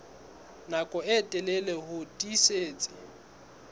nako e telele ho tiisitse